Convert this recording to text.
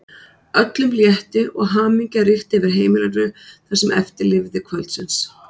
Öllum létti og hamingja ríkti yfir heimilinu það sem eftir lifði kvöldsins.